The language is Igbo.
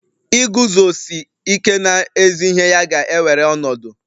Iguzosi ike n'ezi ihe ya ga-ewere ọnọdụ